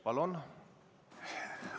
Palun!